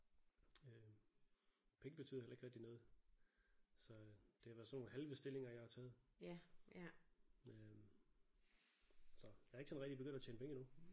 Øh penge betyder heller ikke rigtig noget så det har været sådan nogle halve stillinger jeg har taget øh så jeg er ikke sådan rigtig begyndt at tjene penge endnu